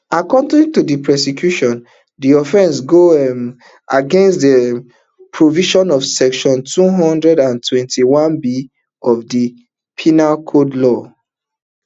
according to di prosecution di offence go um against di um provision of section two hundred and twenty-oneb of di penal code law